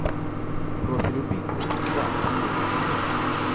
профиль убийцы два последний сезон